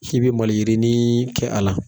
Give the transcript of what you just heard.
K'i be maliyirinii kɛ a la